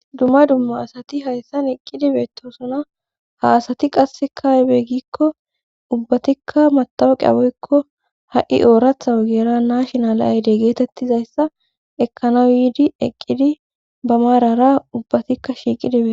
dumma dumma asati hayssan eqqidi beetosona ha asati qasse kaebe gikko ubbatikka matawaqi awoykko ha7i ooratha wogera naashinala ayde geetettizayssa ekkana yiidi eqqidi ba maarara ubbatikka shiiqidibe